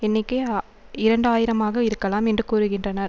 எண்ணிக்கை இரண்டு ஆயிரம்ஆக இருக்கலாம் என்று கூறுகின்றனர்